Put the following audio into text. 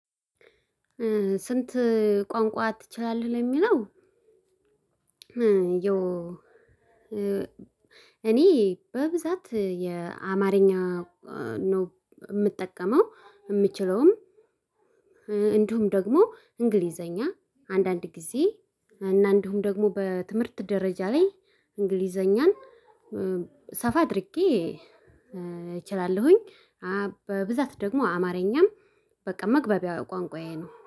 ስንት ቋንቋ ትችላለህ ለሚለው እኔ በብዛት የአማርኛ ነው የምጠቀመው የምችለውም እንዲሁም ደግሞ እንግሊዘኛ አንዳንድ ጊዜ እና እንዲሁም ደግሞ በትምህርት ደረጃ ላይ እንግሊዘኛን ሰፋ አድርጌ እችላለሁኝ። በብዛት ደግሞ አማርኛም በቃ መግባቢያ ቋንቋዬ ነው።